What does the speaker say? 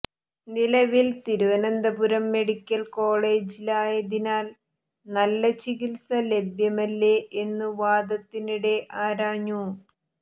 നിലവിൽ തിരുവനന്തപുരം മെഡിക്കൽ കോളജിലായതിനാൽ നല്ല ചികിത്സ ലഭ്യമല്ലേ എന്നും വാദത്തിനിടെ ആരാഞ്ഞു